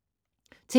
TV 2